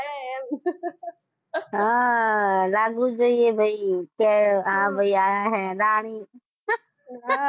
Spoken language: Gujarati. હા આ હા લાગવું જ જોઈએ ભાઈ કે આ ભાઈ આયા હે રાણી